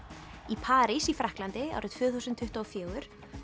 í París í Frakklandi árið tvö þúsund tuttugu og fjögur